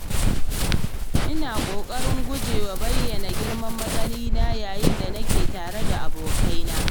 Ina ƙoƙarin guje wa bayyana girman matsayina yayin da nake tare da abokaina.